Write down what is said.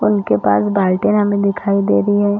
उनके पास बाल्टी हमे दिखाई दे रही है।